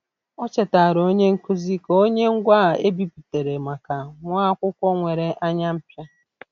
O chetaara onye nkuzi ka o nye ngwaa e bipụtara maka nwa akwụkwọ nwere anya mpia.